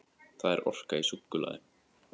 Það er orka í súkkulaði.